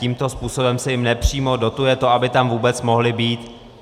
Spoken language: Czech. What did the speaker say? Tímto způsobem se jim nepřímo dotuje to, aby tam vůbec mohly být.